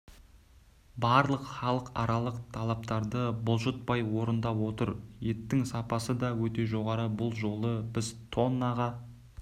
барлық халықаралық талаптарды бұлжытпай орындап отыр еттің сапасы да өте жоғары бұл жолы біз тоннаға